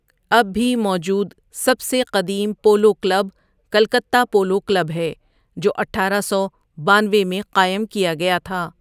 اب بھی موجود سب سے قدیم polo club Calcutta polo club ہے جو اٹھارہ سو بانوے میں قائم کیا گیا تھا۔